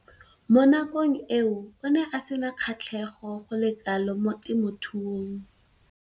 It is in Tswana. Mo nakong eo o ne a sena kgatlhego go le kalo mo temothuong.